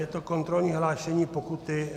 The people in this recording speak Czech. Je to kontrolní hlášení - pokuty.